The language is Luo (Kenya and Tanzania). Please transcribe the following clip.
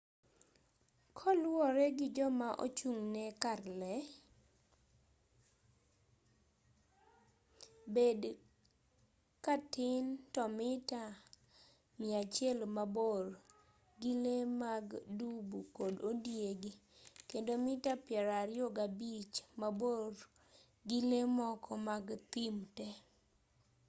koluwore gi joma ochung'ne kar lee bed katin to mita 100 mabor gi lee mag dubu kod ondiegi kendo mita 25 maborgi lee moko mag thim te